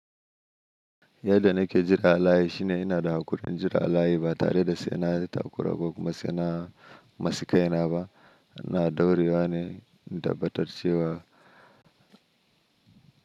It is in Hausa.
Yadda nake jira alayi shine ina da haƙurin jira alayi ba tare da sai na yi takura ko kuma sai na masaka ina ba. Ina dauriwa ne in tabbatar cewa.